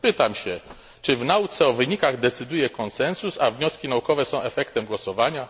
Pytam więc, czy w nauce o wynikach decyduje konsensus, a wnioski naukowe są efektem głosowania?